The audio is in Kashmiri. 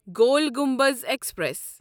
گوٗل گمبز ایکسپریس